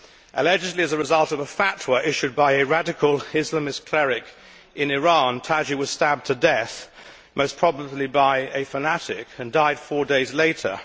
Allegedly as a result of a fatwa issued by a radical Islamist cleric in Iran, Taqi was stabbed to death, most probably by a fanatic, and died four days later.